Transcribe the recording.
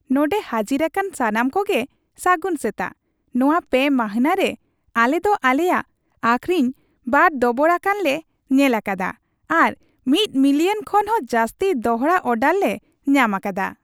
ᱱᱚᱸᱰᱮ ᱦᱟᱹᱡᱤᱨᱟᱠᱟᱱ ᱥᱟᱱᱟᱢᱠᱚ ᱜᱮ ᱥᱟᱹᱜᱩᱱ ᱥᱮᱛᱟᱜ ᱾ ᱱᱚᱣᱟ ᱯᱮ ᱢᱟᱹᱱᱦᱟᱹ ᱨᱮ ᱟᱞᱮ ᱫᱚ ᱟᱞᱮᱭᱟᱜ ᱟᱹᱠᱷᱨᱤᱧ ᱵᱟᱨ ᱫᱚᱵᱚᱲᱟᱠᱟᱱ ᱞᱮ ᱧᱮᱞ ᱟᱠᱟᱫᱟ ᱟᱨ ᱑ ᱢᱤᱞᱤᱭᱚᱱ ᱠᱷᱚᱱ ᱦᱚᱸ ᱡᱟᱹᱥᱛᱤ ᱫᱚᱲᱦᱟ ᱚᱨᱰᱟᱨ ᱞᱮ ᱧᱟᱢ ᱟᱠᱟᱫᱟ ᱾